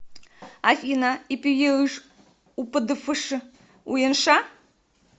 афина ипюеыш упъдбфш уенша